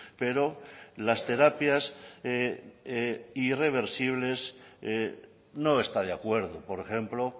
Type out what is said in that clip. pero las terapias irreversibles no está de acuerdo por ejemplo